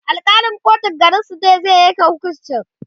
Alkalin kotun garinsu ne zai Yanke hukuncin